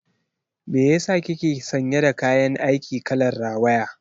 Me yasa kike sanye da kayan aiki kalar rawaya?